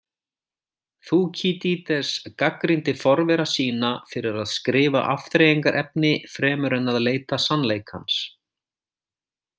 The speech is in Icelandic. Þúkýdídes gagnrýndi forvera sína fyrir að skrifa afþreyingarefni fremur en að leita sannleikans.